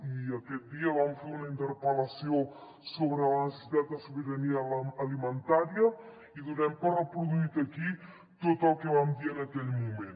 i aquest dia vam fer una interpel·lació sobre la necessitat de sobirania alimentària i donem per reproduït aquí tot el que vam dir en aquell moment